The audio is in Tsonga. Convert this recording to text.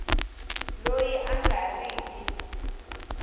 loyi a nga ri ki